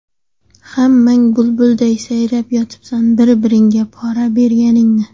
Hammang bulbulday sayrab yotibsan, bir-biringga pora berganingni.